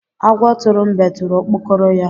Agwọ tụrụ mbe tụrụ okpokoro ya.